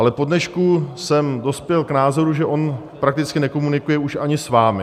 Ale po dnešku jsem dospěl k názoru, že on prakticky nekomunikuje už ani s vámi.